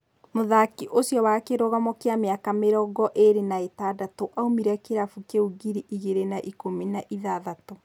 Mũthaki ũcio wa kĩrugamo wa mĩaka mĩrongoĩrĩ na ĩtandatũ aumĩre kĩrabu kĩu ngiri igĩrĩ na ikũmi na ithathatũ.